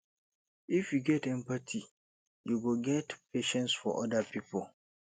if you get empathy you go get patience for oda pipo